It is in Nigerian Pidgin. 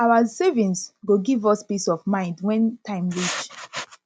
our savings go give us peace of mind when time reach